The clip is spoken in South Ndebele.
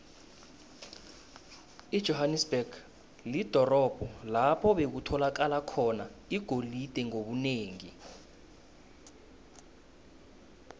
ijohanesberg lidorobho lapho bekutholakala khona igolide ngobunengi